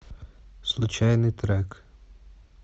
случайный трек